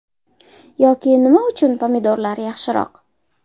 Yoki nima uchun pomidorlar yaxshiroq.